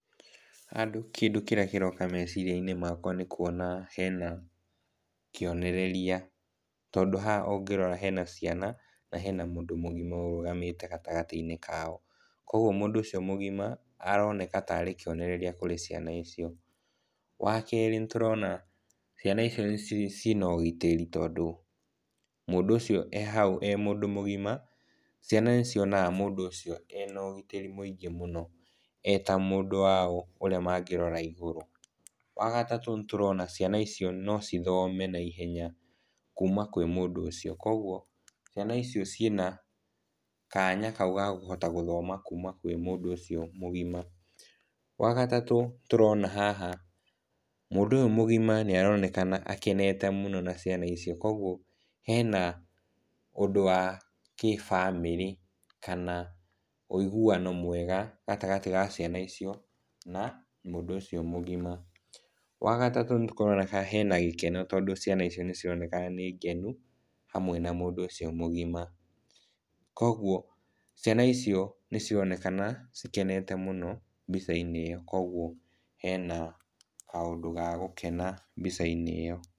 Haha kĩndũ kĩrĩa kĩroka meciria-inĩ makwa nĩ kuona hena kĩonereria, tondũ haha ũngĩrora hena ciana na hena mũndũ mũgima ũrũgamĩte gatagatĩ-inĩ kao. Koguo mũndũ ũcio mũgima aroneka ta arĩ kĩonereria kũrĩ ciana icio. Wa kerĩ, nĩtũrona ciana icio ciĩna ũgitĩri, tondũ mũndũ ũcio e hau e mũndũ mũgima ciana nĩcionaga mũndũ ũcio ena ũgitĩri mũingĩ mũno e ta mũndũ wao ũrĩa mangĩrora igũrũ. Wa gatatũ, nĩtũrona ciana icio no cithome na ihenya kuma kũrĩ mũndũ ũcio koguo ciana icio ciĩna kanya kau ga gũthoma kuma kũrĩ mũndũ ũcio mũgima. Wa gatatũ, tũrona haha mũndũ ũyũ mũgima nĩaroneka akenete mũno na ciana icio, koguo hena ũndũ wa kĩbamĩrĩ kana ũiguano mwega gatagatĩ ga ciana icio na mũndũ ũcio mũgima. Wa gatatũ, nĩkũroneka hena gĩkeno, tondũ ciana icio nĩcironeka nĩ ngenu hamwe na mũndũ ũcio mũgima, koguo ciana icio nĩcironeka cikenete mũno mbica-inĩ ĩyo, koguo hena kaũndũ ga gũkena mbica-inĩ ĩyo.